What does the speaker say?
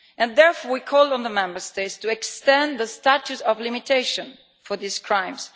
Therefore we call on the Member States to extend the statute of limitation for these crimes.